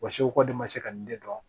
Wa segu ko de ma se ka nin de dɔn